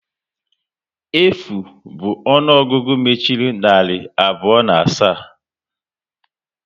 Efu bụ ọnụọgụgụ mechiri narị abụọ na asaa